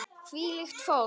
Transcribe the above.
Hvílíkt fólk!